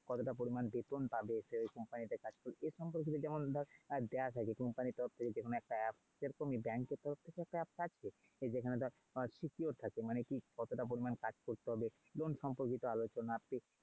কতটা পরিমাণ বেতন পাবে সেই company তে কাজ করলে এ সম্পর্কিত যেমন দেওয়া থাকে company এর তরফ থেকে যেকোনো একটা app সেরকম ই bank এর তরফ থেকেও একটা app থাকছে যেখানে ধর secure থাকে মানে কি কতটা পরিমান কাজ করতে হবে? loan সম্পর্কিত আলোচনা।